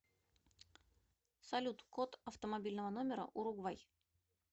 салют код автомобильного номера уругвай